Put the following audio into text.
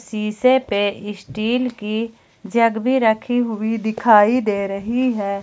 सीसे पर इस्टील की जग भी रखी हुई दिखाई दे रही है ।